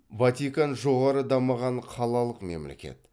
ватикан жоғары дамыған қалалық мемлекет